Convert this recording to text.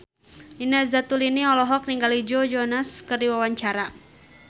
Nina Zatulini olohok ningali Joe Jonas keur diwawancara